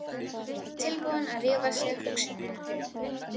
Tilbúnir að rífa í sig hugsunina.